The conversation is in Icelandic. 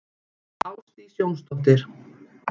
Ásdís Jónsdóttir.